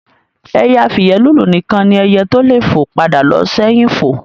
Ẹyẹ afìyẹ́lùlù nìkan ni ẹyẹ tó le fo padà lo sẹ́hìn fo